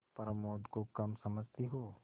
प्रमोद को कम समझती हो